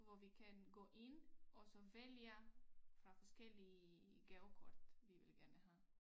Hvor vi kan gå ind og så vælge fra forskellige gavekort vi vil gerne have